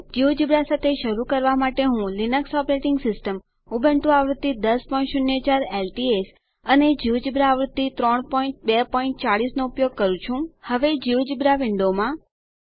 GeoGebra સાથે શરુ કરવા માટે હું નવી લીનક્સ ઓપરેટિંગ સિસ્ટમ ઉબુન્ટુ આવૃત્તિ 1004 એલટીએસ અને જિયોજેબ્રા આવૃત્તિ 3240 નો ઉપયોગ કરી રહી છું હવે જિયોજેબ્રા વિન્ડોમાં